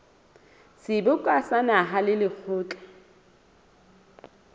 seboka sa naha le lekgotla